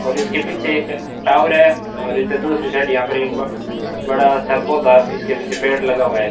और इसके पीछे एक टावर है और इधर दूसरी साइड एक ब बड़ा सा पौधा इसके पीछे पेड़ लगा हुआ है।